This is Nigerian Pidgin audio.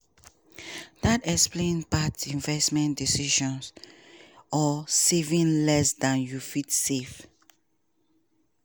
dat explain bad investment decisions or saving less dan you fit save.